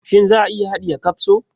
Shin za a iya haɗiye kapso?